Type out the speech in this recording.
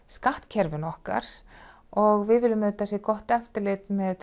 skattkerfinu okkar og við viljum auðvitað að það sé gott eftirlit með